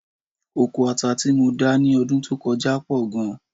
Oko ata tí mo dá ní ọdún tó kọjá pọ̀ gan-an